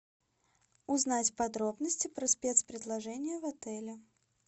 узнать подробности про спецпредложения в отеле